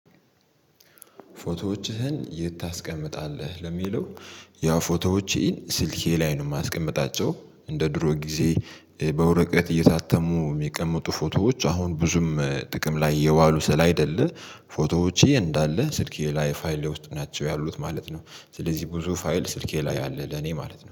ፎቶዎችህን የት ታስቀምጣለህ? ለሚለው ያ ፎቶዎች ስልኬ ላይ ነው የማስቀምጣቸው እንደ ድሮ ጊዜ በወረቀት እየታተሙ የሚቀመጡ ፎቶዎች አሁን ብዙም ጥቅም ላይ የዋሉ ስይደለ ፎቶዎቼ እንዳለ ስልኬ ላይ ፋይሌ ውስጥ ናቸው ያሉት ማለት ነው ስለዚህ ብዙ ፋይል ስልኬ ላይ አለ ለኔ ማለት ነው።